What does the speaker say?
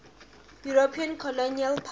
european colonial powers